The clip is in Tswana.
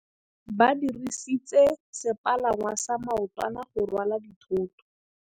Ba dirisitse sepalangwasa maotwana go rwala dithôtô.